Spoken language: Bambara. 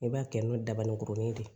I b'a kɛ n'o dabaninkurunin de ye